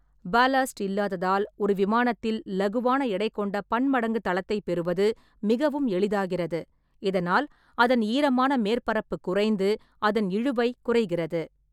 Ballast இல்லாததால், ஒரு விமானத்தில் இலகுவான எடை கொண்ட பன்மடங்கு தளத்தை பெறுவது மிகவும் எளிதாகிறது, இதனால் அதன் ஈரமான மேற்பரப்பு குறைந்து அதன் இழுவை குறைகிறது.